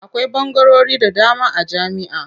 Akwai ɓangarori da dama a jami'a.